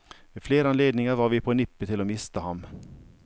Ved flere anledninger var vi på nippet til å miste ham.